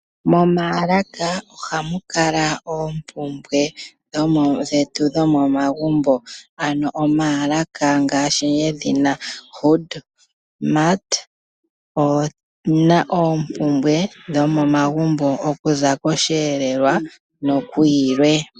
Momaalaka ohamu kala oompumbwe dhetu dhomomagumbo ano omaalaka ngaashi yedhina HoodMart oyina oompumbwe dhomomagumbo okuza kosheelelwa noku yilwe.